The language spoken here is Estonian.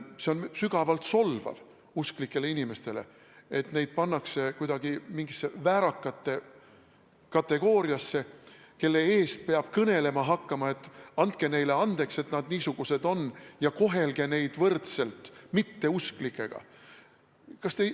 See on sügavalt solvav usklikele inimestele, et neid pannakse kuidagi mingisse väärakate kategooriasse, kelle eest peab hakkama kõnelema nii: andke neile andeks, et nad niisugused on, ja kohelge neid võrdselt mitteusklikega.